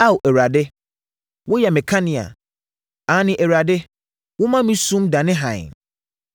Ao Awurade, woyɛ me kanea. Aane, Awurade woma me sum dane hann.